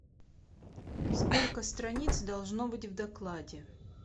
сколько страниц должно быть в докладе